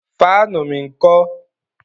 Fáànù mi ńkọ́?